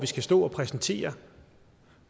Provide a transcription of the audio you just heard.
skal stå og præsentere